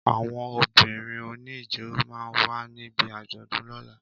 Àwọn obìrin òní ijó ma wà ní bí àjọ̀dún lóla